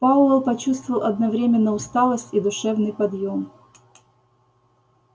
пауэлл почувствовал одновременно усталость и душевный подъем